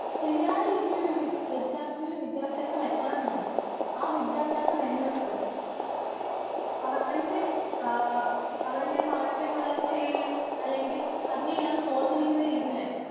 Speaker 1 ശരിയായ രീതിയിൽ ഒര്‌ വിദ്യാർത്തിക്ക് വിദ്യാഭ്യാസം എത്തണമെങ്കിൽ ആ വിദ്യ ഭ്യാസം എന്നത് അവന്റെ അ അവന്റെ മാനസിക വളർച്ചയും അല്ലെങ്കിൽ അതിനെ എല്ലാം സ്വാധീനിക്കുന്ന രീതിയിൽ ആയിരിക്കണം.